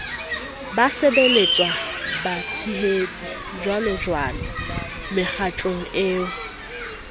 basebelletswa batshehetsi jjwalojwalo mekgatlong eo